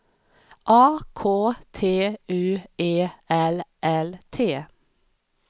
A K T U E L L T